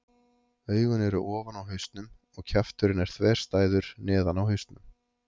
Augun eru ofan á hausnum og kjafturinn er þverstæður neðan á hausnum.